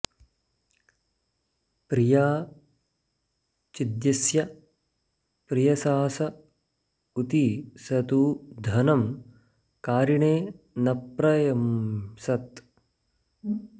प्रिया चिद्यस्य प्रियसास ऊती स तू धनं कारिणे न प्र यंसत्